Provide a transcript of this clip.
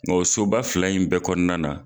Nga o soba fila in bɛɛ kɔnɔna na